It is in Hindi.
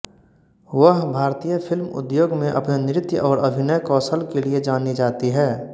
वह भारतीय फिल्म उद्योग में अपने नृत्य और अभिनय कौशल के लिए जानी जाती हैं